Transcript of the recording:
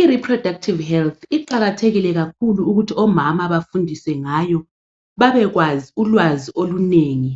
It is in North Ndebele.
I"reproductive health " iqakathekile kakhulu ukuthi omama bafundiswe ngayo babekwazi ukwazi olunengi